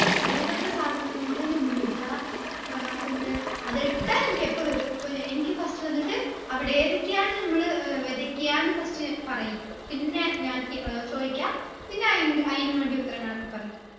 ഏതൊക്കെ സാധനങ്ങൾ നമ്മളിടുഅ ഏർ പിന്നെ അതിട്ടാ എനിക്കെപ്പ വരും ഇപ്പൊ ന എനിക്ക് first വന്നിട്ട് അവിടെ ഏതൊക്കെയാണ് നമ്മള് ഏർ വെതയ്ക്ക്യാന്ന് first പറയ് പിന്നെ ഞങ്ങക്ക് ഏർ ചോയ്ക്ക പിന്ന അയിൻറെ അയിന് വേണ്ടി ഉത്തരങ്ങളൊക്കെ പറയ്